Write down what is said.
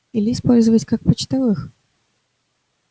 или использовать как почтовых